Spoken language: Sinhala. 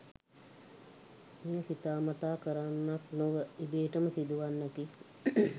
මෙය සිතා මතා කරන්නක් නොව ඉබේටම සිදුවන්නකි.